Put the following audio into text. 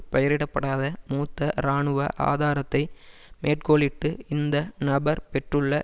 பெயரிடப்படாத மூத்த இராணுவ ஆதாரத்தை மேற்கோளிட்டு இந்த நபர் பெற்றுள்ள